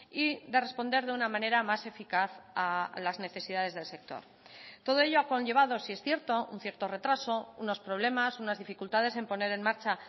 y de responder de una manera más eficaz a las necesidades del sector todo ello ha conllevado sí es cierto un cierto retraso unos problemas unas dificultades en poner en marcha